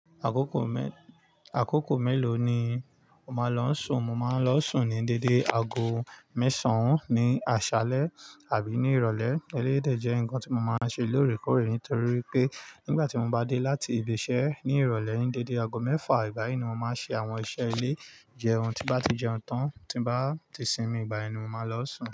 Àkókò mẹ́-- àkókò mélòó ni o máa lọ n sùn? Mo máa ń lọ sùn ní dédé aago mẹ́sàn-án ní àṣálẹ́ àbí ní ìrọ̀lẹ́. Eléyii dè jẹ́ nǹkan tí mo máa ń ṣe lóòrèkóòrè nítorí wipé nígbà tí mo bá dé láti ibi iṣẹ́ ní ìrọ̀lẹ́ ní dédé aago mẹ́fà, ìgbà yi ni mo máa ṣe àwọn iṣẹ́ ilé. Jẹun tí bá ti jẹun tán, tí n bá ti sinmi, ìgbà yẹn ni mo máa lọ sùn.